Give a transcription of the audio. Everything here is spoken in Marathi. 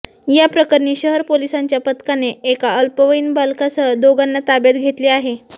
याप्रकरणी शहर पोलीसांच्या पथकाने एका अल्पवयीन बालकासह दोघांना ताब्यात घेतले आहे